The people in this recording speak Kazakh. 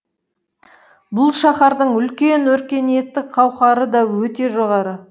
бұл шаһардың үлкен өркениеттік қауқары да өте жоғары